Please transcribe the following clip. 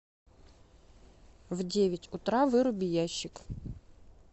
в девять утра выруби ящик